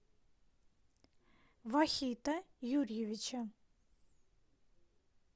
вахита юрьевича